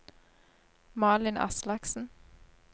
Malin Aslaksen